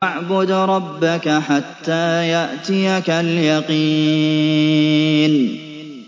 وَاعْبُدْ رَبَّكَ حَتَّىٰ يَأْتِيَكَ الْيَقِينُ